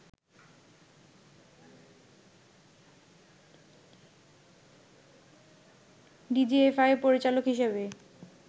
ডিজিএফআই’র পরিচালক হিসেবে